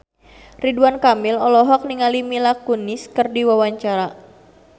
Ridwan Kamil olohok ningali Mila Kunis keur diwawancara